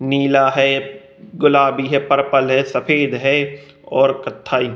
नीला है गुलाबी है पर्पल है और सफेद है और कथाई --